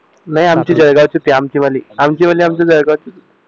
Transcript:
नाही आमची जळगाव आमची वाली जळगाव चीच आहे